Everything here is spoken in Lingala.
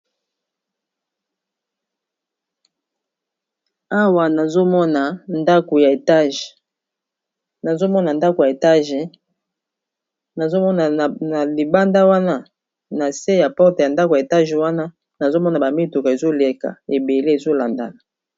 Awa nazomona ndako ya molai, nazomona ndako ya molai, nazomona na libanda wana na se ya ekuke ya ndako ya molai wana nazomona bamituka ezoleka ebele ezolandana.